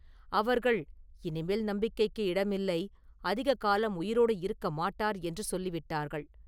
அவர்கள் ‘இனிமேல் நம்பிக்கைக்கு இடமில்லை; அதிக காலம் உயிரோடு இருக்க மாட்டார்’ என்று சொல்லி விட்டார்கள்.